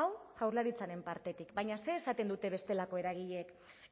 hau jaurlaritzaren partetik baina zer esaten dute bestelako eragileek